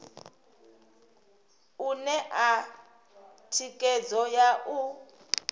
u ṋea thikhedzo ya u